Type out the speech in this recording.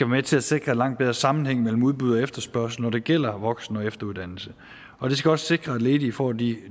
med til at sikre langt bedre sammenhæng mellem udbud og efterspørgsel når det gælder voksen og efteruddannelse og det skal også sikre at ledige får de